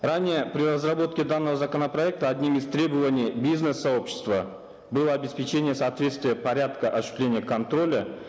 ранее при разработке данного законопроекта одним из требований бизнес сообщества было обеспечение соответствия порядка осуществления контроля